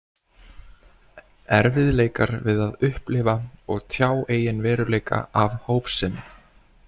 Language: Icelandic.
Erfiðleikar við að upplifa og tjá eigin veruleika af hófsemi.